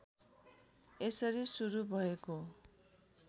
यसरी सुरू भएको